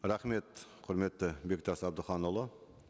рахмет құрметті бектас әбдіханұлы